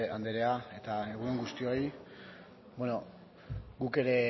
andrea eta egun on guztioi bueno guk ere